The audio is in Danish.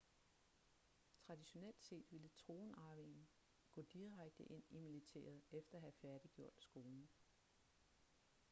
traditionelt set ville tronarvingen gå direkte ind i militæret efter at have færdiggjort skolen